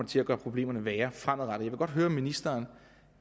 til at gøre problemerne værre fremadrettet jeg vil godt høre om ministeren